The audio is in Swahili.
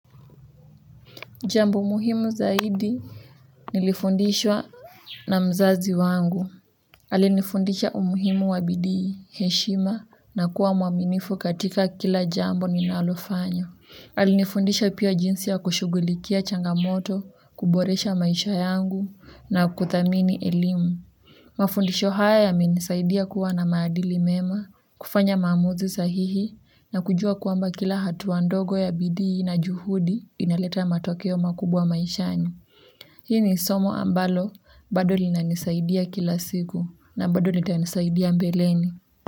Jambo muhimu zaidi nilifundishwa na mzazi wangu. Alinifundisha umuhimu wa bidii heshima na kuwa mwaminifu katika kila jambo ninalofanya. Alinifundisha pia jinsi ya kushughulikia changamoto, kuboresha maisha yangu na kuthamini elimu. Mafundisho haya yamenisaidia kuwa na maadili mema, kufanya maamuzi sahihi na kujua kwamba kila hatua ndogo ya bidii na juhudi inaleta matokeo makubwa maishani. Hii ni somo ambalo bado linanisaidia kila siku na bado litanisaidia mbeleni.